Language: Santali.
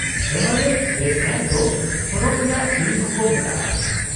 -ᱮᱵᱷᱟᱨᱮᱥᱴ ᱵᱮᱥ ᱠᱮᱢᱯ ᱫᱚ ᱥᱚᱨᱚᱜ ᱨᱮᱭᱟᱜ ᱥᱤᱬᱤ ᱦᱚᱸᱠᱚ ᱢᱮᱛᱟᱜᱼᱟ ᱾